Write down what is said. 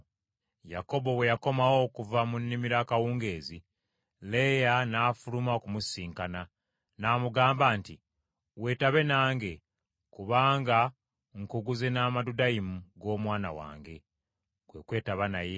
Yakobo bwe yakomawo okuva mu nnimiro akawungeezi, Leeya n’afuluma okumusisinkana, n’amugamba nti, “Weetabe nange, kubanga nkuguze n’amadudayimu g’omwana wange.” Kwe kwetaba naye.